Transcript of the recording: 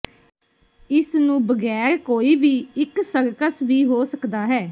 ਇਸ ਨੂੰ ਬਗੈਰ ਕੋਈ ਵੀ ਇੱਕ ਸਰਕਸ ਵੀ ਹੋ ਸਕਦਾ ਹੈ